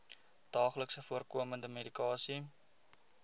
daagliks voorkomende medikasie